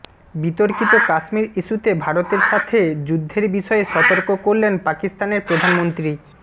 বিতর্কিত কাশ্মির ইস্যুতে ভারতের সাথে যুদ্ধের বিষয়ে সতর্ক করলেন পাকিস্তানের প্রধানমন্ত্রী